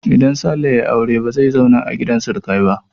Idan Sale ya yi aure ba zai zauna a gidan surukai ba.